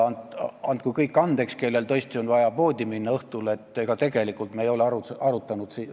Andku andeks kõik, kellel on vaja õhtul poodi minna, me tegelikult ei ole seda asja arutanud.